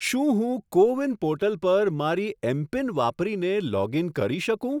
શું હું CoWIN portal પર મારી એમપિન વાપરીને લોગ ઇન કરી શકું?